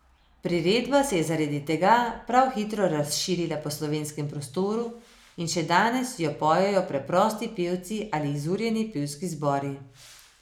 Priredba se je zaradi tega prav hitro razširila po slovenskem prostoru in še dandanes jo pojejo preprosti pevci ali izurjeni pevski zbori.